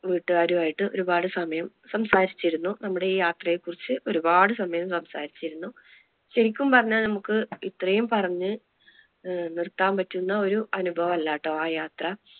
വീട്ടുകാരും ആയിട്ട് ഒരുപാട് സമയം സംസാരിച്ചിരുന്നു നമ്മുടെ ഈ യാത്രയെ കുറിച്ച് ഒരുപാട് സമയം സംസാരിച്ചിരുന്നു. ശെരിക്കും പറഞ്ഞാ നമുക്ക് ഇത്രയും പറഞ്ഞ് നിർത്താൻ പറ്റുന്ന ഒരു അനുഭവം അല്ലാട്ടോ ആ യാത്ര.